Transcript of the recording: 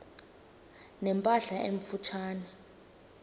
ne mpahla emfutshane